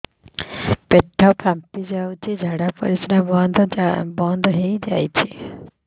ପେଟ ଫାମ୍ପି ଯାଉଛି ଝାଡା ପରିଶ୍ରା ବନ୍ଦ ହେଇ ଯାଉଛି